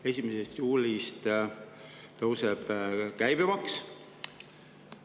1. juulist tõuseb käibemaks.